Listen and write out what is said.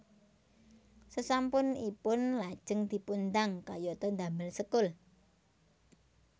Sesampun ipun lajeng dipundang kayata damel sekul